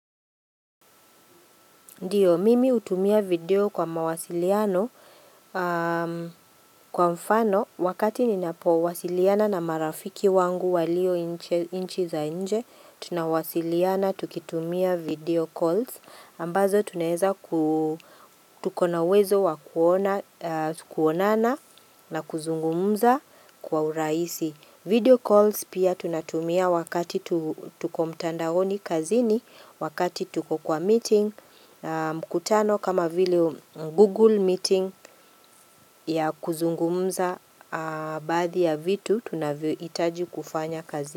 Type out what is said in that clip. Ndiyo, mimi hutumia video kwa mawasiliano, kwa mfano, wakati ninapowasiliana na marafiki wangu walio nchi za nje, tunawasiliana tukitumia video calls, ambazo tunaeza ku tukona uwezo wa kuonana na kuzungumza kwa urahisi. Video calls pia tunatumia wakati tuko mtandaoni kazini, wakati tuko kwa meeting, mkutano kama vile google meeting ya kuzungumza baadhi ya vitu, tunavyohitaji kufanya kazini.